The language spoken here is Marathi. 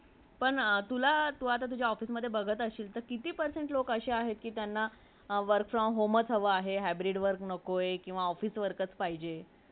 आम्ही आमच्या alarm घड्याळे वाजवून सकाळी उठतो आणि रात्री आमचे